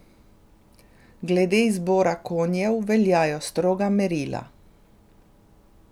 Glede izbora konjev veljajo stroga merila.